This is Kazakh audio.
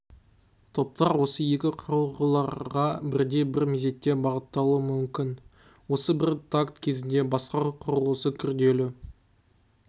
топтар осы екі құрылғыларға бірдей бір мезетте бағытталуы мүмкін осы бір такт кезінде басқару құрылғысы күрделі